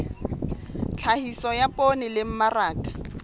tlhahiso ya poone le mmaraka